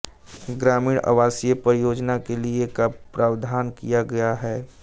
ग्रामीण आवासीय परियोजना के लिए का प्रावधान किया गया है